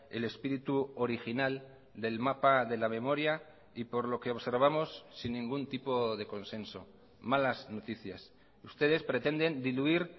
el espíritu original del mapa de la memoria y por lo que observamos sin ningún tipo de consenso malas noticias ustedes pretenden diluir